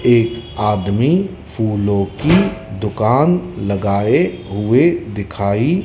एक आदमी फूलों की दुकान लगाए हुए दिखाई--